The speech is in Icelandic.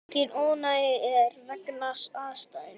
Mikið ónæði er vegna atsins.